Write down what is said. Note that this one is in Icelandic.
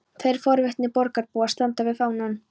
Tveir forvitnir borgarbúar standa við fánann.